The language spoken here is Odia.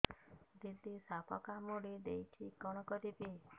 ଦିଦି ସାପ କାମୁଡି ଦେଇଛି କଣ କରିବି